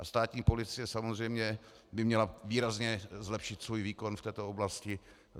A státní policie samozřejmě by měla výrazně zlepšit svůj výkon v této oblasti.